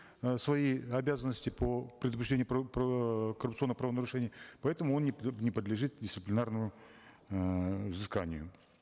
э свои обязанности по предупреждению коррупционных праовнарушений поэтому он не не подлежит дисциплинарному эээ взысканию